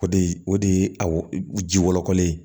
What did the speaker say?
O de o de ye a ji wɔlɔkɔlen ye